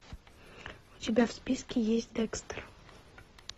у тебя в списке есть декстер